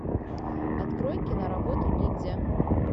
открой киноработу ниндзя